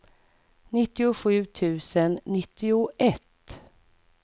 nittiosju tusen nittioett